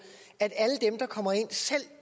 at alle dem der kommer ind selv